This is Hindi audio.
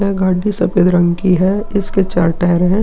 यह घड्डी सफ़ेद रंग की है। इसके चार टायर हैं।